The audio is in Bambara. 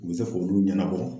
U bɛ se k'olu ɲɛnabɔ.